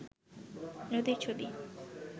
নদীর ছবি